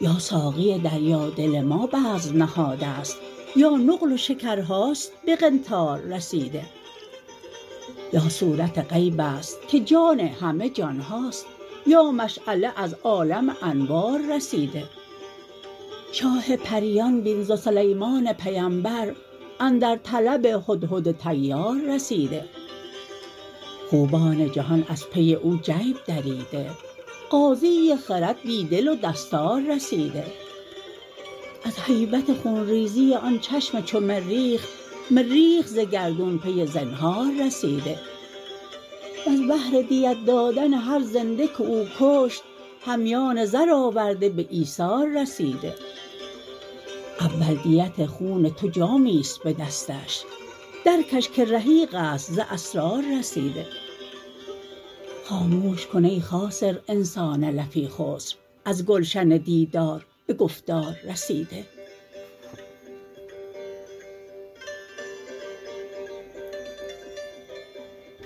یا ساقی دریادل ما بزم نهاده ست یا نقل و شکرهاست به قنطار رسیده یا صورت غیب است که جان همه جان هاست یا مشعله از عالم انوار رسیده شاه پریان بین ز سلیمان پیمبر اندر طلب هدهد طیار رسیده خوبان جهان از پی او جیب دریده قاضی خرد بی دل و دستار رسیده از هیبت خون ریزی آن چشم چو مریخ مریخ ز گردون پی زنهار رسیده وز بهر دیت دادن هر زنده که او کشت همیان زر آورده به ایثار رسیده اول دیت خون تو جامی است به دستش درکش که رحیق است ز اسرار رسیده خاموش کن ای خاسر انسان لفی خسر از گلشن دیدار به گفتار رسیده